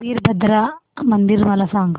वीरभद्रा मंदिर मला सांग